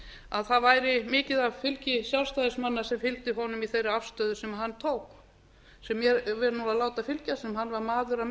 að það væri mikið af fylgi sjálfstæðismanna sem fylgdi honum í þeirri afstöðu sem hann tók sem ég vil láta fylgja að hann var